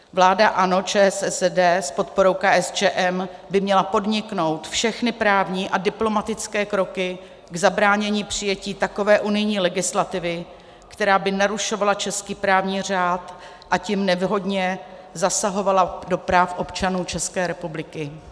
Vláda ANO, ČSSD s podporou KSČM by měla podniknout všechny právní a diplomatické kroky k zabránění přijetí takové unijní legislativy, která by narušovala český právní řád, a tím nevhodně zasahovala do práv občanů České republiky.